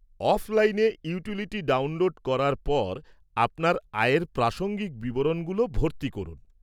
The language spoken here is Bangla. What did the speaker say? অফলাইনে ইউটিলিটি ডাউনলোড করার পর আপনার আয়ের প্রাসঙ্গিক বিবরণগুলো ভর্তি করুন।